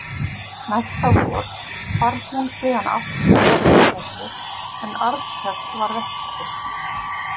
Næsta vor hvarf hún síðan aftur að Helgafelli en Arnkell varð eftir.